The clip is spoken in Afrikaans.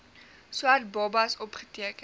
swart babas opgeteken